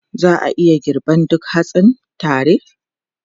Za a iya girban duk hatsin tare?